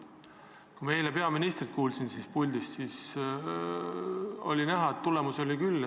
Ma kuulasin eile peaministrit, kes oli siin puldis, ja oli näha, et tulemusi oli küll.